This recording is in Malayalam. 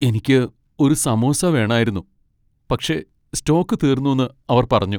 എനിക്ക് ഒരു സമോസ വേണായിരുന്നു, പക്ഷേ സ്റ്റോക്ക് തീർന്നുന്ന് അവർ പറഞ്ഞു.